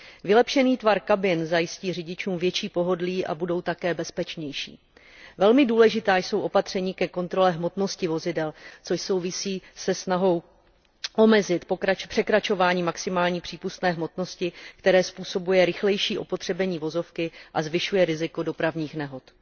Vylepšený tvar kabin zajistí řidičům větší pohodlí a budou také bezpečnější. Velmi důležitá jsou opatření ke kontrole hmotnosti vozidel, což souvisí se snahou omezit překračování maximální přípustné hmotnosti, které způsobuje rychlejší opotřebení vozovky a zvyšuje riziko dopravních nehod.